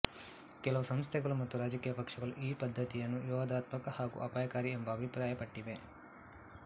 ಕೆಲವು ಸಂಸ್ಥೆಗಳು ಮತ್ತು ರಾಜಕೀಯ ಪಕ್ಷಗಳು ಈ ಪದ್ಧತಿಯನ್ನು ವಿವಾದಾತ್ಮಕ ಹಾಗೂ ಅಪಾಯಕಾರಿ ಎಂಬ ಅಭಿಪ್ರಾಯ ಪಟ್ಟಿವೆ